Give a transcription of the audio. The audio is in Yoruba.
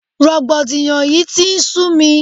Rògbòdìyàn yìí tí ń sú mi.